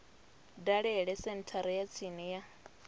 dalele senthara ya tsini ya